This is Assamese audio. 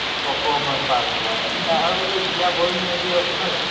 অকমান পাৰ হৈ হয়, আ আৰু জীয়া ভৰলী নদীও আছে নহয় জানো?